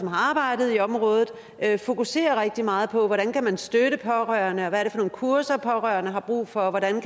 har arbejdet i området fokuserer rigtig meget på hvordan man kan støtte pårørende hvad nogle kurser pårørende har brug for og hvordan